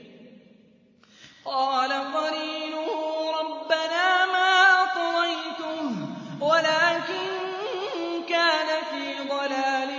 ۞ قَالَ قَرِينُهُ رَبَّنَا مَا أَطْغَيْتُهُ وَلَٰكِن كَانَ فِي ضَلَالٍ